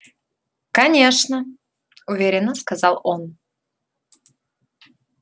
конечно уверенно сказал он